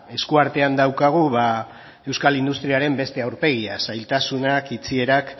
eskuartean daukagu ba euskal industriaren beste aurpegia zailtasunak itxierak